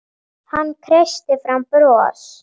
Hann kreisti fram bros.